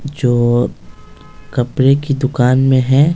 जो कपड़े की दुकान में हैं--